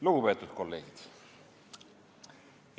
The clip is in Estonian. Lugupeetud kolleegid!